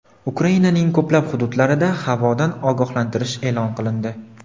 Ukrainaning ko‘plab hududlarida havodan ogohlantirish eʼlon qilindi.